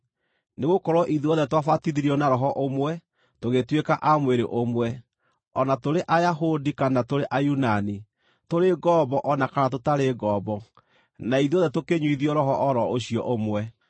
Nĩgũkorwo ithuothe twabatithirio na Roho ũmwe tũgĩtuĩka a mwĩrĩ ũmwe, o na tũrĩ Ayahudi kana tũrĩ Ayunani, tũrĩ ngombo o na kana tũtarĩ ngombo, na ithuothe tũkĩnyuithio Roho o ro ũcio ũmwe.